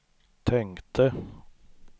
tänkte